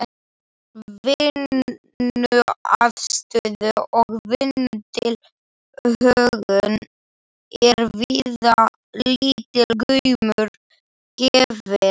Vinnuaðstöðu og vinnutilhögun er víða lítill gaumur gefinn.